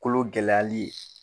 Kolo gɛlɛyali ye.